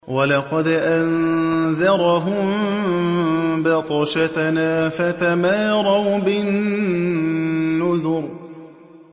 وَلَقَدْ أَنذَرَهُم بَطْشَتَنَا فَتَمَارَوْا بِالنُّذُرِ